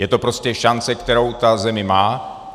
Je to prostě šance, kterou ta země má.